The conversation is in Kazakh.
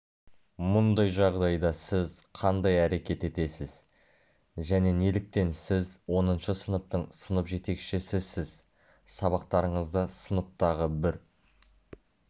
мұндай жағдайда сіз қандай әрекет етесіз және неліктен сіз оныншы сыныптың сынып жетекшісісіз сабақтарыңызда сыныптағы бір